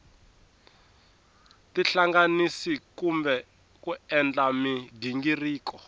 tihlanganisa kumbe ku endla mighingiriko